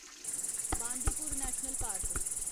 Bandipur national park